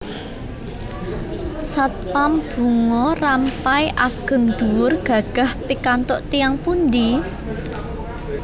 Satpam Bunga Rampai ageng dhuwur gagah pikantuk tiyang pundi?